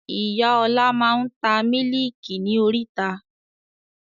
Ìyá ọ̀la máa ń ta Mílíkì ni oríta.